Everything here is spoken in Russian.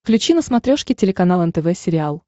включи на смотрешке телеканал нтв сериал